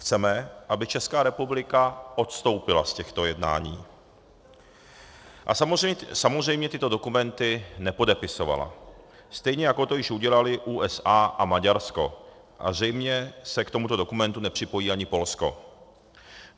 Chceme, aby Česká republika odstoupila z těchto jednání a samozřejmě tyto dokumenty nepodepisovala, stejně jako to již udělaly USA a Maďarsko, a zřejmě se k tomuto dokumentu nepřipojí ani Polsko.